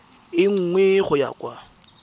e nngwe go ya kwa